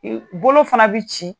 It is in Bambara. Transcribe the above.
bolo fana bɛ ci.